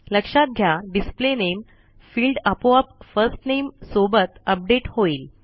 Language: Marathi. लक्षात घ्या डिस्प्ले नामे फिल्ड आपोआप फर्स्ट नामे सोबत अपडेट होईल